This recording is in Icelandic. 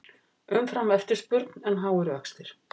Umframeftirspurn en háir vextir